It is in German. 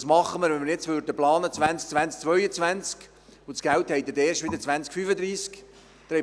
Und was täten wir, wenn wir jetzt für 2020–2022 planen würden, aber Geld hätte es erst wieder im Jahr 2035?